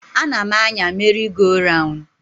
Anam-anya meri go raun.